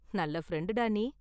நல்ல ஃப்ரெண்டு டா நீ.